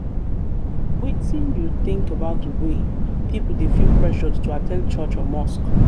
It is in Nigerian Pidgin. wetin you think about di way people dey feel pressured to at ten d church or mosque?